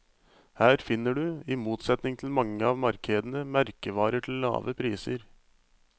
Her finner du, i motsetning til mange av markedene, merkevarer til lave priser.